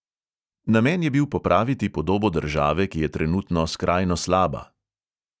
Namen je bil popraviti podobo države, ki je trenutno skrajno slaba.